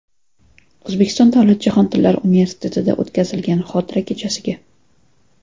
O‘zbekiston davlat jahon tillari universitetida o‘tkaziladigan xotira kechasiga.